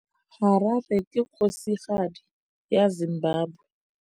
Harare ke kgosigadi ya Zimbabwe.